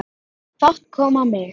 Fát kom á mig.